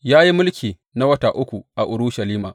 Ya yi mulki na wata uku a Urushalima.